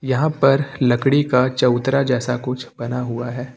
यहां पर लकड़ी का चबूतरा जैसा कुछ बना हुआ है।